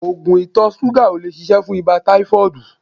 Oògùn ìtọ̀ ṣúgà ò lè ṣiṣẹ́ fún ibà táífọ́ọ̀dù